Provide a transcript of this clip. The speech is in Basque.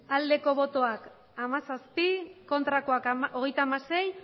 hamairu bai hamazazpi ez hogeita hamasei